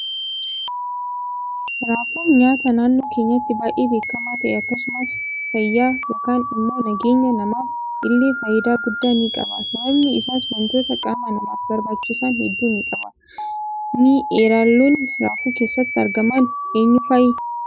Raafuun nyaata naannoo keenyatti baay'ee beekama ta'e akkasumas fayya yookaan immoo nageenya namaaf ille faayida guddaa ni qaba sababiin isaas waantota qaama namaaf barbaachisan hedduu ni qaba. Mi eraalonni raafuu keessatti argaman eenyu fa'i?